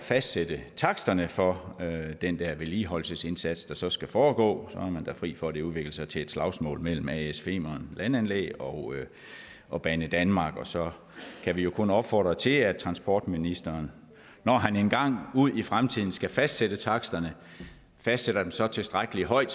fastsætte taksterne for den vedligeholdelsesindsats der så skal foregå så man da fri for at det udvikler sig til et slagsmål mellem as femern landanlæg og og banedanmark og så kan vi jo kun opfordre til at transportministeren når han engang ude i fremtiden skal fastsætte taksterne fastsætter dem så tilstrækkelig højt